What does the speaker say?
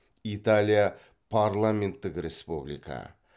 италия парламенттік республика